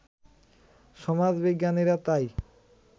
সমাজবিজ্ঞানীরা তাই